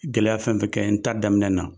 Gɛlɛya fɛn o fɛn kɛ n ta daminɛ na